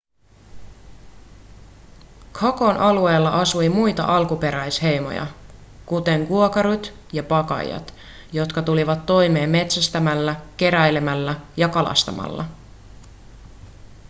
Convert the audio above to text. chacon alueella asui muita alkuperäisheimoja kuten guaycurút ja payaguát jotka tulivat toimeen metsästämällä keräilemällä ja kalastamalla